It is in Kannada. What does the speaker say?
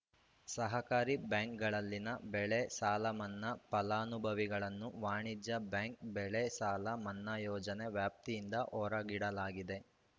ಸಹಕಾರಿ ಬ್ಯಾಂಕ್‌ಗಳಲ್ಲಿನ ಬೆಳೆ ಸಾಲಮನ್ನಾ ಫಲಾನುಭವಿಗಳನ್ನು ವಾಣಿಜ್ಯ ಬ್ಯಾಂಕ್‌ ಬೆಳೆಸಾಲ ಮನ್ನಾ ಯೋಜನೆ ವ್ಯಾಪ್ತಿಯಿಂದ ಹೊರಗಿಡಲಾಗಿದೆ